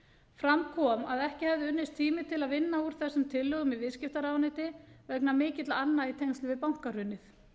fram kom að ekki hefði unnist tími til að vinna úr þessum tillögum í viðskiptaráðuneyti vegna mikilla anna í tengslum við bankahrunið